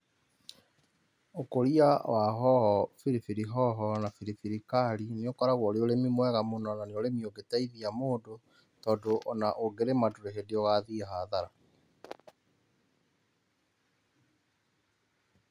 Ũkũria wa hoho, biribiri hoho na biribiri kari nĩ ũkoragwo ũrĩ ũrĩmi mwega mũno na nĩ ũrĩmi ũngĩteithia mũndũ tondũ ona ũngĩrĩma ndũrĩ hĩndĩ ũgathiĩ hathara.